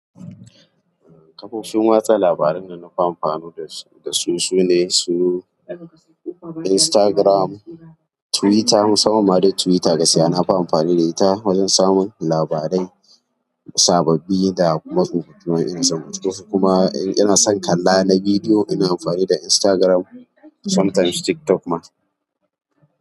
Kafofin watsa labaran da nafi amfani da su sune su Instagram, Twitter musamman ma dai Twitter gaskiya nafi amfani da ita wajen samun labarai sababbi da kuma tsofafi ma inadon binci kuma ina son kalla na bidiyo ina amfani da Instagram sometimes TikTok ma.